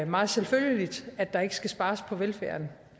meget selvfølgeligt at der ikke skal spares på velfærden